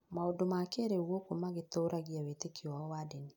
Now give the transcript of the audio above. maũndũ ma kĩrĩu gũkũ magĩtũũragia wĩtĩkio wao wa ndini.